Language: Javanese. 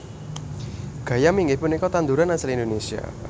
Gayam inggih punika tanduran asli Indonesia